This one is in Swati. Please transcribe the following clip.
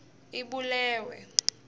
ibulewe